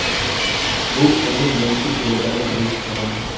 Bu uni yengish yo‘lidagi birinchi qadam.